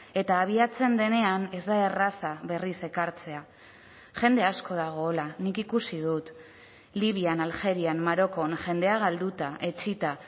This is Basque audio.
eta abiatzen denean ez da erraza berriz ekartzea jende asko dago hola nik ikusi dut libian aljerian marokon jendea galduta etsita